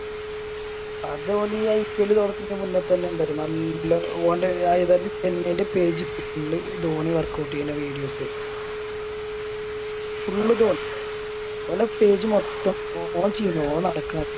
അത് ഓന് ഈ IPL തൊടക്കണെൻറെ മുന്നേ തന്നെ എന്താറ്റു നല്ല ഓൻറെ ചെന്നൈൻറെ Page full ധോണി Workout ചെയ്യണ Videos Full ധോണി ഓലെ Page മൊത്തം ഓൻ